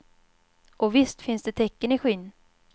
Och visst finns det tecken i skyn.